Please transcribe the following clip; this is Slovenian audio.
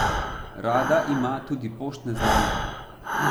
Rada ima tudi poštne znamke.